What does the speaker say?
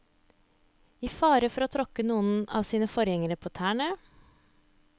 I fare for å tråkke noen av sine forgjengere på tærne.